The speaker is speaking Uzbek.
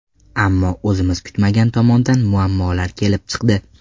Ammo o‘zimiz kutmagan tomondan muammolar kelib chiqdi.